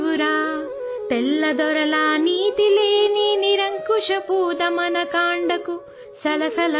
अंग्रेजों के न्याय रहित निरंकुश दमन कांड को देख